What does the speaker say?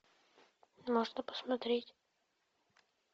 можно посмотреть